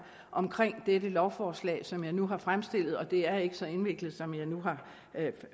om dette lovforslag som jeg nu har fremstillet og det er ikke så indviklet som jeg nu har